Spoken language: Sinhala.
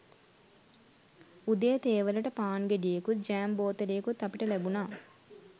උදේ තේ වලට පාන් ගෙඩියකුත් ජෑම් බෝතලයකුත් අපිට ලැබුණා